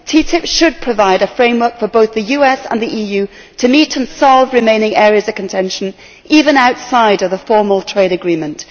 TTIP should provide a framework for both the US and the EU to meet and solve remaining areas of contention, even outside of the formal trade agreement.